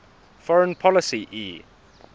foreign policy e